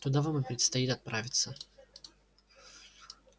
туда вам и предстоит отправиться